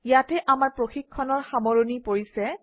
ইয়াতে আমাৰ প্ৰশিক্ষণৰ সামৰণি পৰিছে